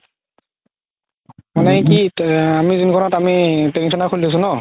মানে কি আমি যোনখনত আমি training center খুলিছো ন